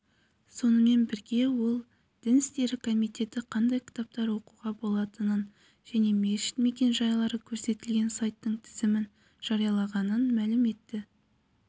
сонымен бірге ол дін істері комитеті қандай кітаптар оқуға болатынын және мешіт мекен-жайлары көрсетілген сайттың тізімін жариялағанын мәлім етті